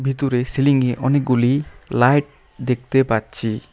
ভিতরে সিলিং -এ অনেকগুলি লাইট দেখতে পাচ্ছি।